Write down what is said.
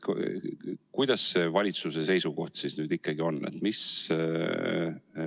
Milline see valitsuse seisukoht siis ikkagi on?